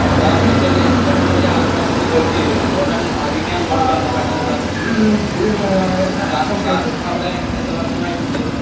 Sir എന്റെ ജ്യേഷ്ഠനവിടെ ഒരു ആറ് മാസത്തെ കോഴ്സ് ചെയ്തിരുന്നു അതുകൊണ്ടാണ് ആദ്യമേ അങ്ങോട്ട് ബന്ധപ്പെട്ടത് സർ . സർ അവിടെ എത്ര വർഷമായിട്ട് ഉണ്ട്